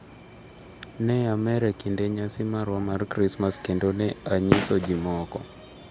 """Ne amer e kinde nyasi marwa mar Krismas kendo ne anyiso ji moko."